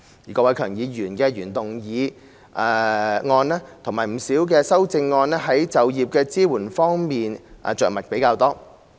郭偉强議員的原議案及不少修正案在就業支援方面着墨較多。